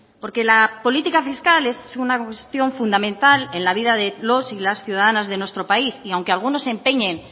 porque la política fiscal es una cuestión fundamental en la vida de los y las ciudadanas de nuestro país y aunque algunos se empeñen